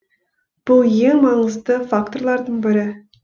бұл ең маңызды факторлардың бірі